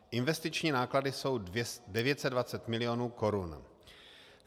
Investiční náklady jsou 920 milionů korun.